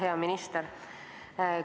Hea minister!